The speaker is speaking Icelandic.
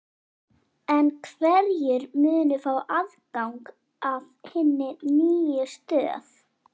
En hverjir munu fá aðgang að hinni nýju stöð?